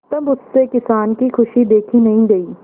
तब उससे किसान की खुशी देखी नहीं गई